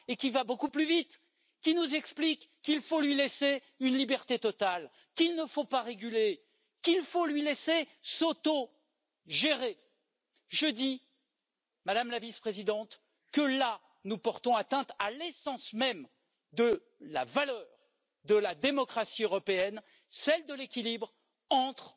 et va beaucoup plus vite, qu'il faut lui laisser une liberté totale, qu'il ne faut pas le réguler, qu'il faut lui laisser s'autogérer, je pense, Madame la Vice présidente, que nous portons atteinte à l'essence même de la valeur de la démocratie européenne, celle de l'équilibre entre